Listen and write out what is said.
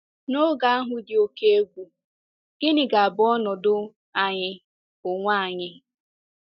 N'oge ahụ dị oké egwu, gịnị ga-abụ ọnọdụ anyị onwe anyị?